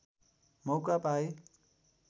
मौका पाए